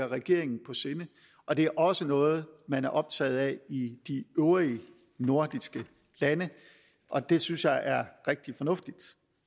regeringen på sinde og det er også noget man er optaget af i de øvrige nordiske lande og det synes jeg er rigtig fornuftigt